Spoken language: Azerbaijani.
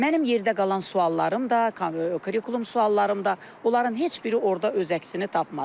Mənim yerdə qalan suallarım da, kurikulum suallarım da, onların heç biri orda öz əksini tapmadı.